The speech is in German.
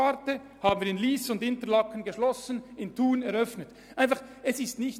Wir schlossen in Lyss und Interlaken die Forstwartausbildung und eröffneten sie in Thun.